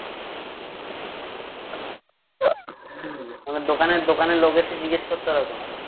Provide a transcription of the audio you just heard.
দোকানে দোকানের লোক এসে জিজ্ঞেস করতো এরকম